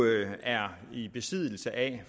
er i besiddelse af